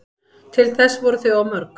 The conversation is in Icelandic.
Til þess voru þau of mörg